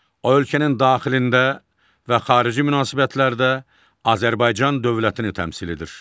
O ölkənin daxilində və xarici münasibətlərdə Azərbaycan dövlətini təmsil edir.